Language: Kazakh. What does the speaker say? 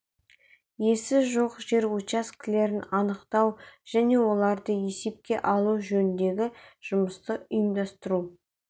иесі жоқ жер учаскелерін анықтау және оларды есепке алу жөніндегі жұмысты ұйымдастыру